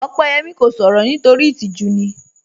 Opeyẹmi kò sọ̀rọ̀ nítorí itíjú ni